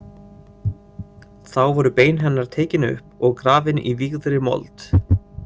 Þá voru bein hennar tekin upp og grafin í vígðri mold.